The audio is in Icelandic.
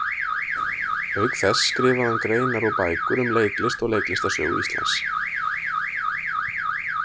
Auk þess skrifaði hann greinar og bækur um leiklist og leiklistarsögu Íslands.